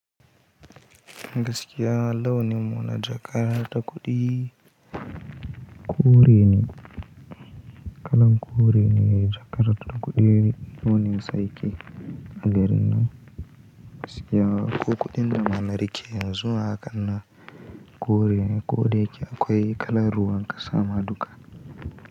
Gaskiya launin mu na jaka ta kuɗi kore ne kalan kore ne jakar ta kuɗi launin su yake a garinan gaskiya ko kuɗinda ma na rike yanzu ma hakanan kore ne ko da yake akwai kala ruwa kasa ma duka.